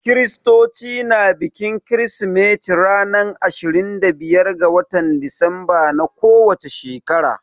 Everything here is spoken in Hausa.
Kiristoci na bikin kirsimeti ranar ashirin da biyar ga watan Disemba na ko wace shekara.